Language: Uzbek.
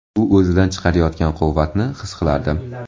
U o‘zidan chiqarayotgan quvvatni his qilardim.